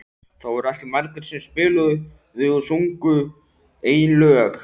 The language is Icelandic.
Það voru ekki margir sem spiluðu og sungu eigin lög.